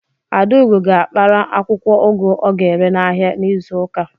Adaugo ga-akpara akwụkwọ ugu ọ ga-ere n'ahịa n'izu ụka.